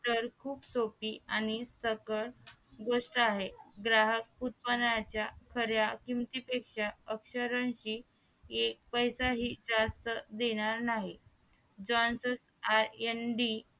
तर खूप सोपी आणि सकल गोष्ठ आहे ग्राहक उत्पादनाच्या खऱ्या किमती पेशा अक्षरांशी एक पैसा हि जास्त देणार नाही जॉन्सन आय न डी